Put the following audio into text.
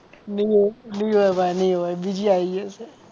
નહીં હોય નહીં હોય ભાઈ નહીં હોય બીજી આવી ગઈ હશે.